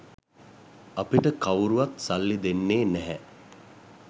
අපිට කවුරුවත් සල්ලි දෙන්නේ නැහැ